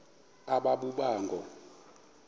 aba boba ngoo